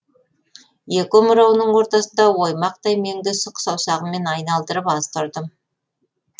екі омырауының ортасындағы оймақтай меңді сұқ саусағыммен айналдырып аз тұрдым